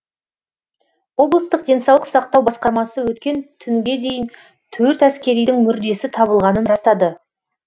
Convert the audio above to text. облыстық денсаулық сақтау басқармасы өткен түнге дейін төрт әскеридің мүрдесі табылғанын растады